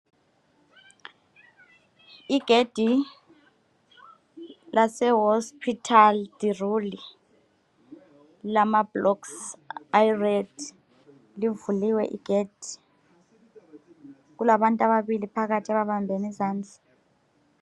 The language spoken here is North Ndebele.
Igedi lase hospital deRul lilamablocks abomvu livuliwe igedi kulabantu ababili phakathi ababambene izandla